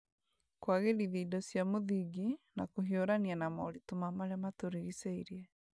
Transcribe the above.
kũagĩrithia indo cia mũthingi, na kũhiurania na moritũ ma marĩa matũrigicĩirie